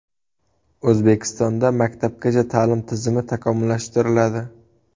O‘zbekistonda maktabgacha ta’lim tizimi takomillashtiriladi.